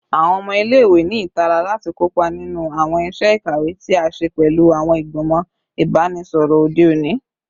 Awọn ọmọ ile-iwe ni itara lati kopa ninu awọn iṣẹ ikawe ti a ṣe pẹlu awọn igbimọ ibanisọrọ ode oni